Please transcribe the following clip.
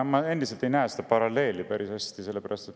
Ma endiselt päris hästi ei näe seda paralleeli.